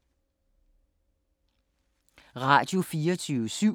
Radio24syv